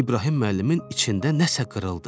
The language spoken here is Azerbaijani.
İbrahim müəllimin içində nəsə qırıldı.